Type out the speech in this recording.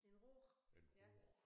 En råge ja